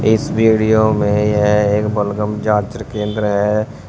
इस वीडियो में है एक बलगम जांच केंद्र है।